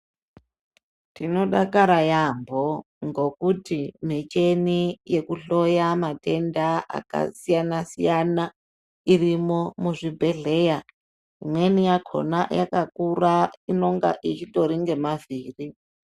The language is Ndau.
Tinodakara yambo ngekuti miteni yekuhloya matenda akasiyana siyana irimwo muzvibhedhlera, imweni yakhona yakakura inonga ichitori nemavhiri.